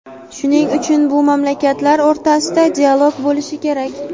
shuning uchun bu mamlakatlar o‘rtasida dialog bo‘lishi kerak.